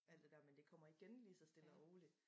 Alt det dér men det kommer igen lige så stlle og roligt